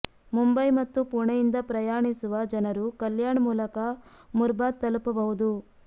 ಮುಂಬೈ ಮತ್ತು ಪುಣೆಯಿಂದ ಪ್ರಯಾಣಿಸುವ ಜನರು ಕಲ್ಯಾಣ್ ಮೂಲಕ ಮುರ್ಬಾದ್ ತಲುಪಬಹುದು